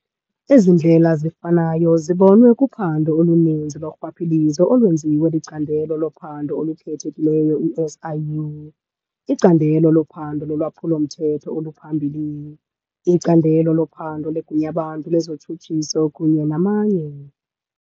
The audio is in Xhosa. Ezindlela zifanayo zibonwe kuphando oluninzi lorhwaphilizo olwenziwa liCandelo loPhando oluKhethekileyo, i-SIU, iCandelo loPhando loLwaphulo-mthetho oluPhambili, iCandelo loPhando leGunyabantu lezoTshutshiso kunye namanye.